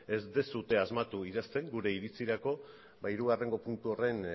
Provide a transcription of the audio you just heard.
ez duzue asmatu idazten gure iritzirako ba hirugarrengo puntu horren